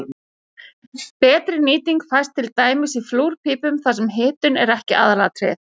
Betri nýting fæst til dæmis í flúrpípum þar sem hitun er ekki aðalatriðið.